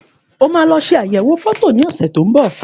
Òmà lo sẹ àyẹwò fọtọ ni ọse tọ ún ḿbọ